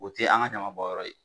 O te an ka ɲaman bɔn yɔrɔ ye